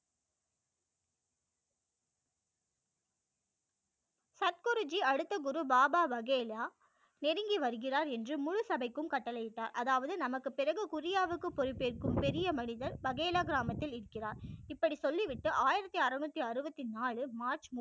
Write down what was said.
குருஜி அடுத்த குரு பாபா பகேலா நெருங்கி வருகிறார் என்று முழு சபைக்கும் கட்டளை இட்டார் அதாவது நமக்கு பிறகு குரியாவுக்கு பொறுப்பு ஏற்கும் பெரிய மனிதர் பகேலா கிராமத்தில இருக்கிறார் இப்படி சொல்லி விட்டு ஆயிரத்தி அறுநூற்று அறுபத்து நாலு மார்ச்